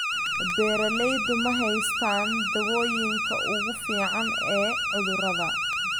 Beeraleydu ma haystaan ??dawooyinka ugu fiican ee cudurrada.